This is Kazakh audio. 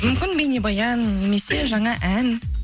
мүмкін бейнебаян немесе жаңа ән